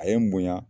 A ye n munya